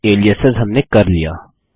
और एलियासेस हमने कर लिया